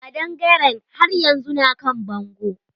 Kaɗangaren haryanzu na kan bango.